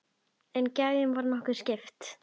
En gæðunum var nokkuð skipt.